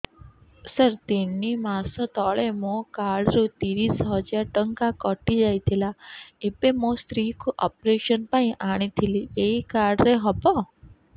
ସାର ତିନି ମାସ ତଳେ ମୋ କାର୍ଡ ରୁ ତିରିଶ ହଜାର ଟଙ୍କା କଟିଯାଇଥିଲା ଏବେ ମୋ ସ୍ତ୍ରୀ କୁ ଅପେରସନ ପାଇଁ ଆଣିଥିଲି ଏଇ କାର୍ଡ ରେ ହବ